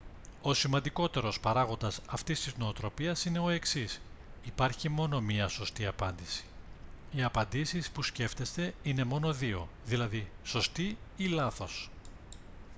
ο σημαντικότερος παράγοντας αυτής της νοοτροπίας είναι ο εξής υπάρχει μόνο μία σωστή απάντηση οι απαντήσεις που σκέφτεστε είναι μόνο δύο δηλαδή σωστή ή λάθος